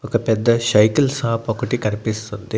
ఒక పెద్ద cycle shop ఒకటి కనిపిస్తుంది.